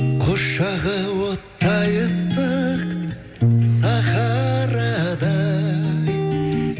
құшағы оттай ыстық сахарадай